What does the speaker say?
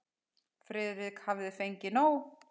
Friðrik hafði fengið nóg.